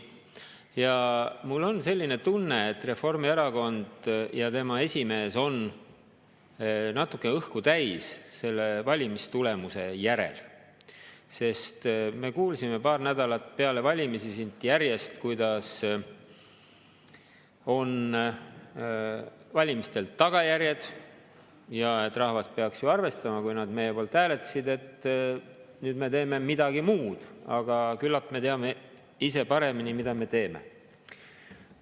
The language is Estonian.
Ja mul on selline tunne, et Reformierakond ja tema esimees on natuke õhku täis selle valimistulemuse järel, sest me kuulsime paar nädalat peale valimisi siit järjest, kuidas on valimistel tagajärjed ja et rahvas peaks ju arvestama, kui nad meie poolt hääletasid, et nüüd me teeme midagi muud, aga küllap me teame ise paremini, mida me teeme.